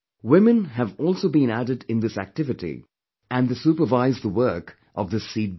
Women have also been added in this activity and they supervise the work of this seedbank